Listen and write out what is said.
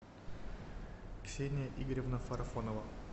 ксения игоревна фарафонова